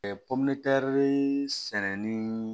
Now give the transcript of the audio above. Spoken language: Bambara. sɛnɛni